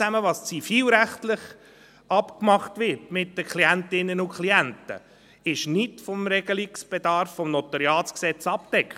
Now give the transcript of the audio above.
Alles was zivilrechtlich mit den Klientinnen und Klienten abgemacht wird, ist nicht vom Regelungsbedarf des NG abgedeckt.